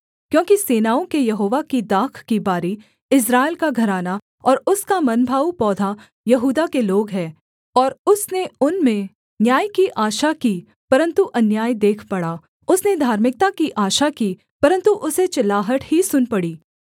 क्योंकि सेनाओं के यहोवा की दाख की बारी इस्राएल का घराना और उसका मनभाऊ पौधा यहूदा के लोग है और उसने उनमें न्याय की आशा की परन्तु अन्याय देख पड़ा उसने धार्मिकता की आशा की परन्तु उसे चिल्लाहट ही सुन पड़ी